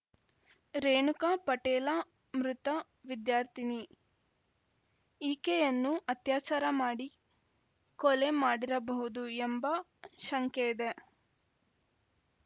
ರೇಣುಕಾ ಪಟೇಲ ಮೃತ ವಿದ್ಯಾರ್ಥಿನಿ ಈಕೆಯನ್ನು ಅತ್ಯಾಚಾರ ಮಾಡಿ ಕೊಲೆ ಮಾಡಿರಬಹುದು ಎಂಬ ಶಂಕೆಯಿದೆ